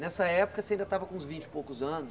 Nessa época você ainda estava com uns vinte e poucos anos.